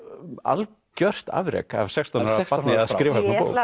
algjört afrek af sextán ára barni að skrifa